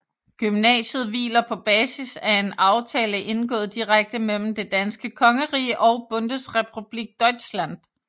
Gymnasiet hviler på basis af en aftale indgået direkte mellem Det danske Kongerige og Bundesrepublik Deutschland